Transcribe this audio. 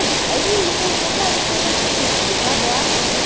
Ali. Aí minha irmã contou para ele o que tinha acontecido comigo com o meu padrasto, né?